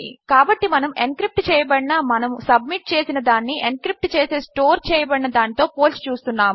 కాబట్టి మనము ఎన్క్రిప్ట్ చేయబడిన మనము సబ్మిట్ చేసిన దానిని ఎన్క్రిప్ట్ చేసే స్టోర్ చేయబడిన దానితో పోల్చి చూస్తున్నాము